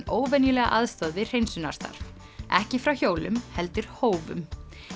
óvenjulega aðstoð við hreinsunarstarf ekki frá hjólum heldur hófum